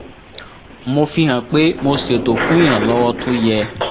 mo fi hàn pé mo ṣètò fún iranlọwọ t’ó yẹ